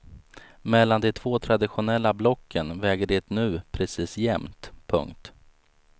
Mellan de två traditionella blocken väger det nu precis jämt. punkt